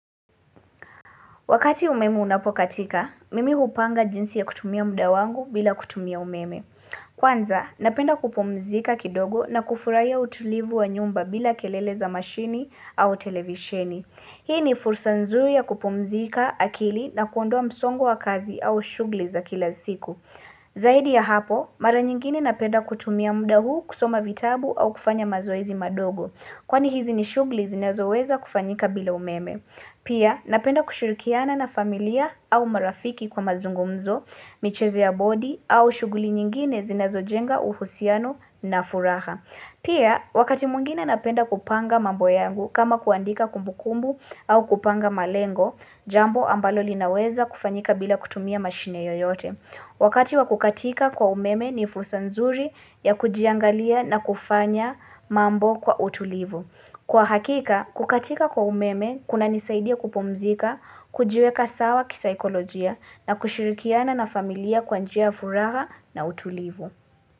Wakati umeme unapokatika, mimi hupanga jinsi ya kutumia muda wangu bila kutumia umeme. Kwanza, napenda kupumzika kidogo na kufurahia utulivu wa nyumba bila kelele za mashini au televisheni. Hii ni fursa nzuri ya kupumzika akili na kuondoa msongo wa kazi au shughuli za kila siku. Zaidi ya hapo, mara nyingine napenda kutumia muda huu kusoma vitabu au kufanya mazoezi madogo. Kwani hizi ni shughuli zinezoweza kufanyika bila umeme. Pia, napenda kushirikiana na familia au marafiki kwa mazungumzo, michezo ya bodi au shughuli nyingine zinazojenga uhusiano na furaha. Pia, wakati mwingine napenda kupanga mambo yangu kama kuandika kumbukumbu au kupanga malengo, jambo ambalo linaweza kufanyika bila kutumia mashine yoyote. Wakati wa kukatika kwa umeme ni fursa nzuri ya kujiangalia na kufanya mambo kwa utulivu. Kwa hakika, kukatika kwa umeme, kunanisaidia kupumzika, kujiweka sawa kisaikolojia na kushirikiana na familia kwa njia ya furaha na utulivu.